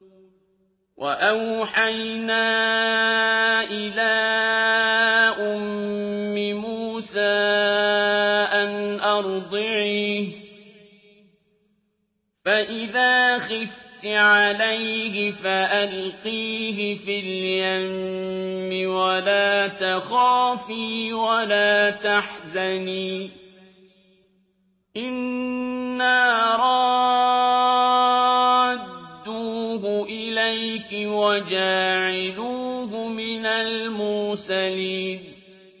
وَأَوْحَيْنَا إِلَىٰ أُمِّ مُوسَىٰ أَنْ أَرْضِعِيهِ ۖ فَإِذَا خِفْتِ عَلَيْهِ فَأَلْقِيهِ فِي الْيَمِّ وَلَا تَخَافِي وَلَا تَحْزَنِي ۖ إِنَّا رَادُّوهُ إِلَيْكِ وَجَاعِلُوهُ مِنَ الْمُرْسَلِينَ